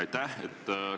Aitäh!